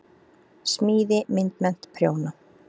Smíði- myndmennt- prjóna